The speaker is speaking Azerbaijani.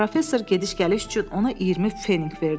Professor gediş-gəliş üçün ona 20 feninq verdi.